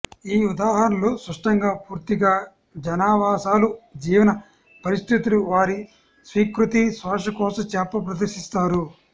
ఈ ఉదాహరణలు స్పష్టంగా పూర్తిగా జనావాసాలు జీవన పరిస్థితులు వారి స్వీకృతి శ్వాసకోశ చేప ప్రదర్శిస్తారు